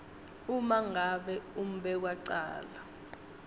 uma ngabe umbekwacala